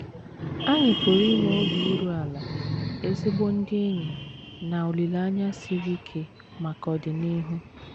Anyị pụrụ inwe obi iru ala, ezigbo ndị enyi, na olileanya siri ike maka ọdịnihu.